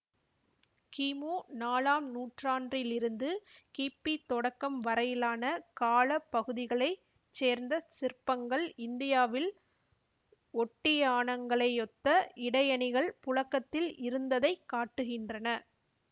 கீமு நாலாம் நூற்றாண்டிலிருந்து கிபி தொடக்கம் வரையிலான கால பகுதிகளை சேர்ந்த சிற்பங்கள் இந்தியாவில் ஒட்டியாணங்களையொத்த இடையணிகள் புழக்கத்தில் இருந்ததை காட்டுகின்றன